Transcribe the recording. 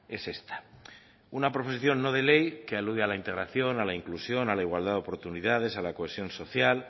es esta una proposición no de ley que alude a la integración a la inclusión a la igualdad de oportunidades a la cohesión social